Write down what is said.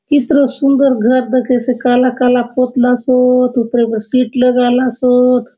कितरो सुंदर घर दखेसे काला-काला पोतरा सोत ऊपरे बले सीट लगाला सोत।